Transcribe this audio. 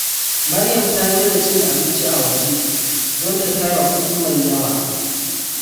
Maryam ta daina cin abinci a waje don ta tara kudi mai yawa.